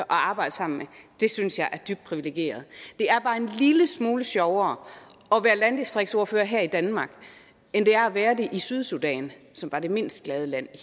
arbejde sammen med det synes jeg er dybt privilegeret det er bare en lille smule sjovere at være landdistriktsordfører her i danmark end det er at være det i sydsudan som var det mindst glade land i